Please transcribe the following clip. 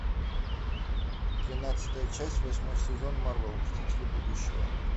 тринадцатая часть восьмой сезон марвел мстители будущего